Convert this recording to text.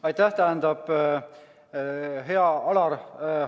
Aitäh, hea Alar!